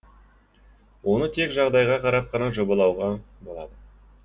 оны тек жағдайға қарап қана жобалауға болады